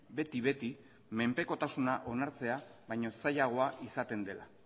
beti beti menpekotasuna onartzea baino zailagoa izaten dela